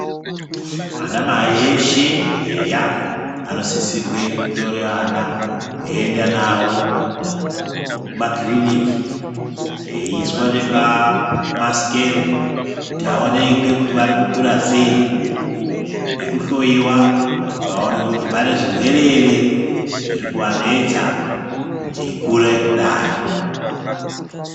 Ana mai eshe eya anosisirwa kutora vana veienda nawo kumakiriniki veiswa nepa maskero kuti vaonekwe kuti vari kukura sei nekuhloiwa kuti vaonekwe kuti pane zvirwere ere zviri kuvanetsa eikura kudai.